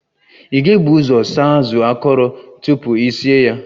Ị ga-ebu ụzọ saa azụ akọrọ tupu I sie ya